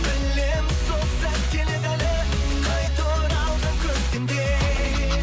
білемін сол сәт келеді әлі қайта оралған көктемдей